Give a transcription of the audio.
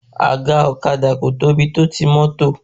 Àga ọ̀kadà kò tóbi tó ti mọ́tò